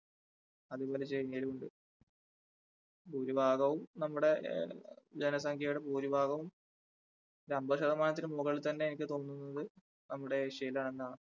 അതുപോലെ ചൈനയിലും ഉണ്ട് ഭൂരിഭാഗവും നമ്മുടെ ആ ജനസംഖ്യയുടെ ഭൂരിഭാഗവും ഒരു അൻപത് ശതമാനത്തിന് മുകളിൽ തന്നെ എനിക്ക് തോന്നുന്നത് നമ്മുടെ ഏഷ്യയിൽ ആണെന്നാണ്.